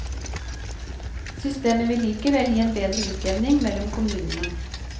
Systemet vil likevel gi en bedre utjevning mellom kommunene.